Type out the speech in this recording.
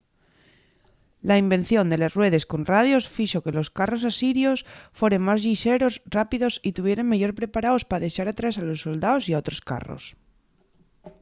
la invención de les ruedes con radios fixo que los carros asirios foren más llixeros rápidos y tuvieren meyor preparaos pa dexar atrás a los soldaos y a otros carros